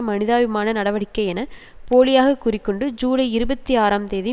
மனிதாபிமான நடவடிக்கை என போலியாகக் கூறி கொண்டு ஜூலை இருபத்தி ஆறாம் தேதி